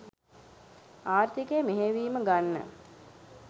ආර්ථිකය මෙහෙයවීම ගන්න